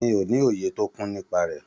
Mi o ni òye tó kún nípa rẹ.